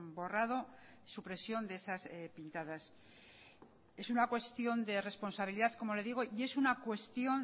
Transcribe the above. borrado supresión de esas pintadas es una cuestión de responsabilidad como le digo y es una cuestión